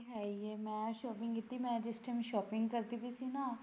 ਇਹ ਹੈ ਈ ਐ ਮੈ shopping ਕੀਤੀ ਮੈਂ ਜਿਸ time shopping ਕਰਦੀ ਪਈ ਸੀ ਨਾ।